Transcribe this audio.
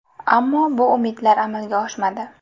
Ammo bu umidlar amalga oshmadi.